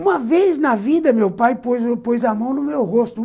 Uma vez na vida, meu pai pôs pôs a mão no meu rosto.